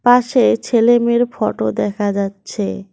পাশে ছেলে মেয়ের ফটো দেখা যাচ্ছে।